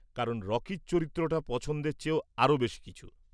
কারণ রকির চরিত্রটা পছন্দের চেয়েও আরও বেশি কিছু।